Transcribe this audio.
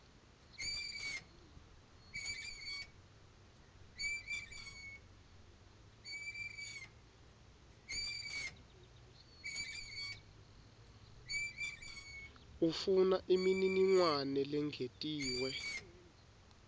ufuna imininingwane lengetiwe